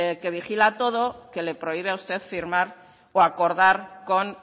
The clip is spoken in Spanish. que vigila todo que le prohíbe a usted firmar o acordar con